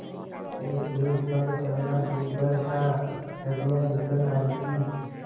एकएक पग चलना दूभर था हड्डियाँ निकल आयी थीं